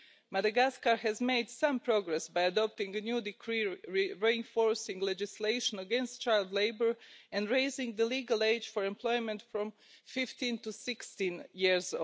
Madagascar has made some progress by adopting a new decree reinforcing legislation against child labour and raising the legal age for employment from 15 to 16 years.